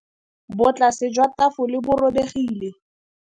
Botlasê jwa tafole bo robegile.